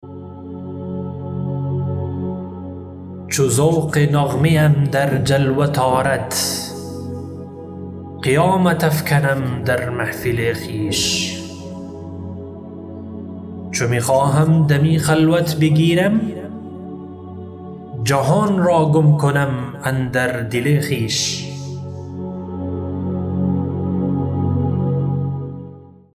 چو ذوق نغمه ام در جلوت آرد قیامت افکنم در محفل خویش چو می خواهم دمی خلوت بگیرم جهان را گم کنم اندر دل خویش